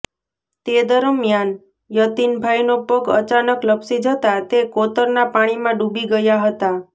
તે દરમ્યાન યતિનભાઇનો પગ અચાનક લપસી જતાં તે કોતરના પાણીમાં ડૂબી ગયા હતા